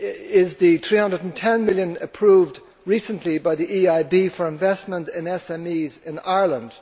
is the EUR 310 million approved recently by the EIB for investment in SMEs in Ireland.